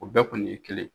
O bɛɛ kɔni ye kelen ye